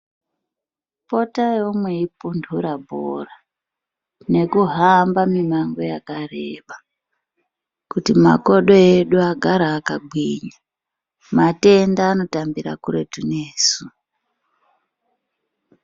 Potaiwo meipundura bhora ngekuhamba mimango yakareba kuti makodo edu agare akagwinya matenda anotambira kuretu nesu.